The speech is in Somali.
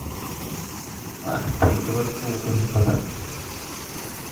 Ma aragtay gabar kuu qurux badan?